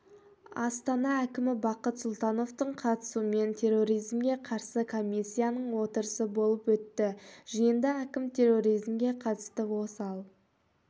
астана әкімі бақыт сұлтановтың қатысуымен терроризмге қарсы комиссияның отырысы болып өтті жиында әкім терроризмге қатысты осал